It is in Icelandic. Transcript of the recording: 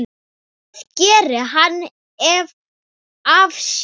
Hvað gerði hann af sér?